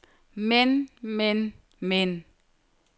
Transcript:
men men men